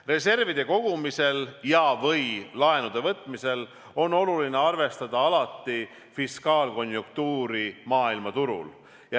Reservide kogumisel ja/või laenude võtmisel on oluline alati arvestada fiskaalkonjunktuuri maailmaturul.